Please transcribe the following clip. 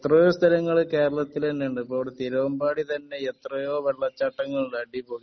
എത്രയോ സ്ഥലങ്ങൾ കേരളത്തിൽ തന്നെ ഉണ്ട് ഇപ്പൊ ഇവിടെ തിരുവമ്പാടി തന്നെ എത്രയോ വെള്ളച്ചാട്ടങ്ങൾ ഉണ്ട് അടിപൊളി